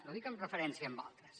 no ho dic en referència amb altres